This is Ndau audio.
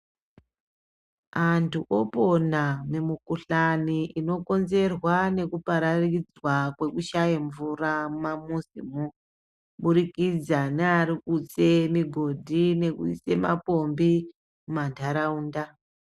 Antu opona nemukuhlani inokonzerwa nekupararidzwa kwekushaya mvura mumamizimo kuburikidza nearikutse migodhi nekuise mapombi mumandaraunda.